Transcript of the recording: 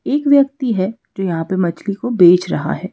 एक व्यक्ति है जो यहां पर मछली को बेच रहा है।